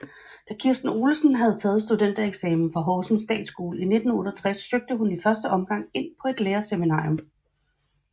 Da Kirsten Olesen havde taget studentereksamen fra Horsens Statsskole i 1968 søgte hun i første omgang ind på et lærerseminarium